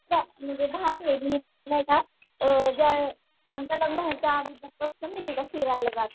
म्हणजे भारी आहे आमचं लग्न मी तिथं फिरायला जात होती